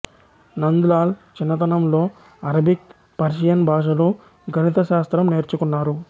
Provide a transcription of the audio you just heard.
నంద్ లాల్ చిన్నతనంలోఅరబిక్ పర్షియన్ భాషలు గణిత శాస్త్రం నేర్చుకున్నారు